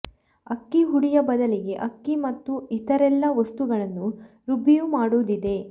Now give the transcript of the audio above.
ಅಕ್ಕಿ ಹುಡಿಯ ಬದಲಿಗೆ ಅಕ್ಕಿ ಮತ್ತು ಇತರೆಲ್ಲಾ ವಸ್ತುಗಳನ್ನು ರುಬ್ಬಿಯೂ ಮಾಡುವುದಿದೆ